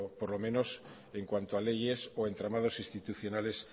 por lo menos en cuanto a leyes o entramados institucionales